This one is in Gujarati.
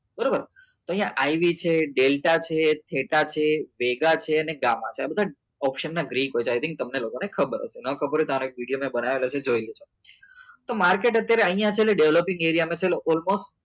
બરોબર તો અહીંયા આવી છે ડેલ્ટા છે ટેટા છે મેગા છે અને ગામમાં છે આ બધા option ના રેટ છે ગ્રીક બતાવી હતી તમને લોકોને ખબર હશે ના ખબર હોય તો આ એકતા અને એક વિડીયો મેક બનાવેલો છે જોઈ લેવાનું તો માર્કેટ અત્યારે અહીંયા છે developing એરિયામાં જ છે allmost